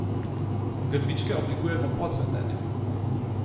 Grmičke oblikujemo po cvetenju.